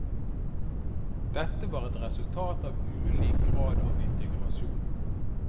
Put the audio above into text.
Dette var ett resultat av ulik grad av integrasjon.